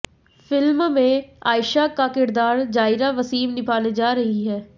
film में आयशा का किरदार जायरा वसीम निभाने जा रही हैं